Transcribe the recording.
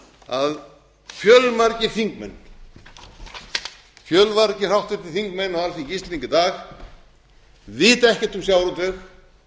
að fjölmargir þingmenn fjölmargir háttvirtir þingmenn á alþingi íslendinga í dag vita ekkert um sjávarútveg og vilja